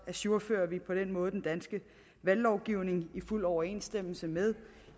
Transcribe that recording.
ajourfører vi på den måde den danske valglovgivning i fuld overensstemmelse med